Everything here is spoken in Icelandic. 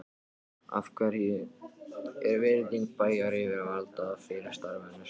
Af hverju er virðing bæjaryfirvalda fyrir starfinu svo lítil?